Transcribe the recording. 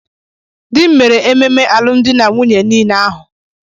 Dị m mere ememe alụmdi na nwunye niile ahụ.